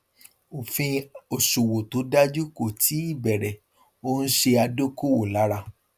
òfin òṣòwò tó dájú kó tíì bẹrẹ ó ń ṣe adókòwò lára